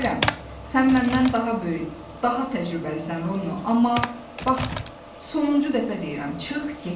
Bilirəm, sən məndən daha böyük, daha təcrübəlisən Rono, amma bax, sonuncu dəfə deyirəm, çıx get.